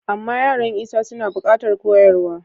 Amma yaran Isa suna buƙatar koyarwa.